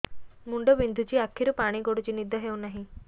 ମୁଣ୍ଡ ବିନ୍ଧୁଛି ଆଖିରୁ ପାଣି ଗଡୁଛି ନିଦ ହେଉନାହିଁ